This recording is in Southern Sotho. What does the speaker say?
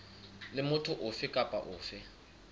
le motho ofe kapa ofe